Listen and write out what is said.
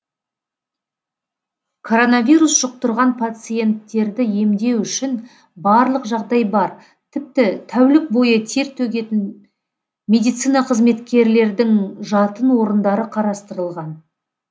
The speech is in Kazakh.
коронавирус жұқтырған пациенттерді емдеу үшін барлық жағдай бар тіпті тәулік бойы тер төгетін медицина қызметкерлердің жатын орындары қарастырылған